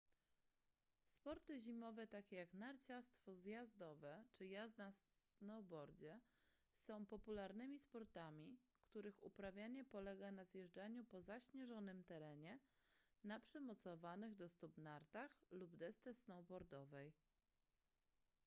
sporty zimowe takie jak narciarstwo zjazdowe czy jazda snowboardzie są popularnymi sportami których uprawianie polega na zjeżdżaniu po zaśnieżonym terenie na przymocowanych do stóp nartach lub desce snowboardowej